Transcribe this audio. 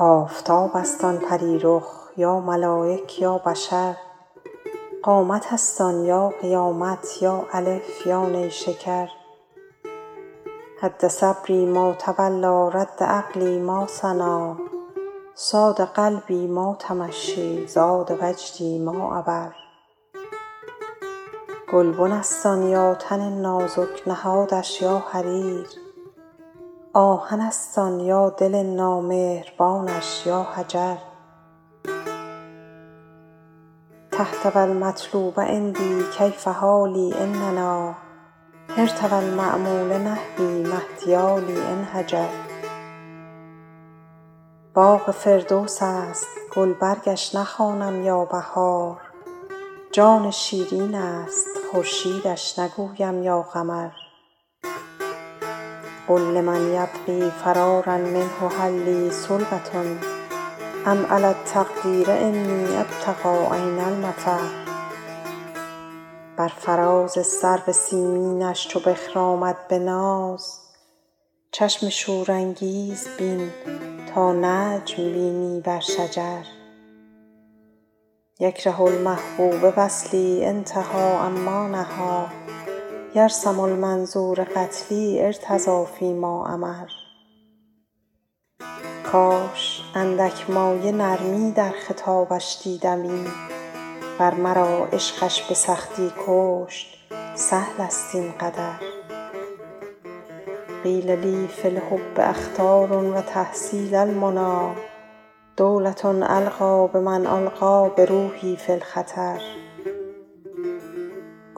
آفتاب است آن پری رخ یا ملایک یا بشر قامت است آن یا قیامت یا الف یا نیشکر هد صبری ما تولیٰ رد عقلی ما ثنیٰ صاد قلبی ما تمشیٰ زاد وجدی ما عبر گلبن است آن یا تن نازک نهادش یا حریر آهن است آن یا دل نامهربانش یا حجر تهت و المطلوب عندی کیف حالی إن نأیٰ حرت و المأمول نحوی ما احتیالی إن هجر باغ فردوس است گلبرگش نخوانم یا بهار جان شیرین است خورشیدش نگویم یا قمر قل لمن یبغی فرارا منه هل لی سلوة أم علی التقدیر أنی أبتغي أین المفر بر فراز سرو سیمینش چو بخرامد به ناز چشم شورانگیز بین تا نجم بینی بر شجر یکره المحبوب وصلی أنتهي عما نهیٰ یرسم المنظور قتلی أرتضی فی ما أمر کاش اندک مایه نرمی در خطابش دیدمی ور مرا عشقش به سختی کشت سهل است این قدر قیل لی فی الحب أخطار و تحصیل المنیٰ دولة ألقی بمن ألقیٰ بروحی فی الخطر